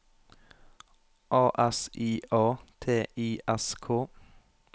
A S I A T I S K